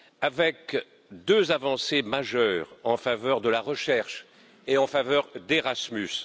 Avec deux avancées majeures en faveur de la recherche et en faveur d'Erasmus.